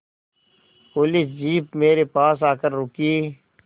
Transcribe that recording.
police jeep मेरे पास आकर रुकी